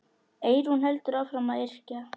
Eyrún heldur áfram að yrkja.